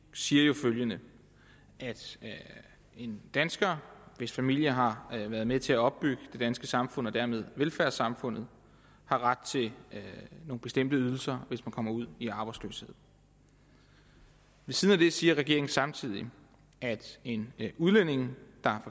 siger følgende en dansker hvis familie har været med til at opbygge det danske samfund og dermed velfærdssamfundet har ret til nogle bestemte ydelser hvis man kommer ud i arbejdsløshed ved siden af det siger regeringen samtidig at en udlænding der